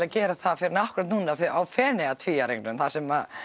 að gera það fyrr en akkúrat núna á Feneyjatvíæringnum þar sem